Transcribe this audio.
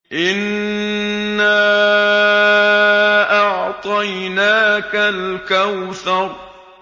إِنَّا أَعْطَيْنَاكَ الْكَوْثَرَ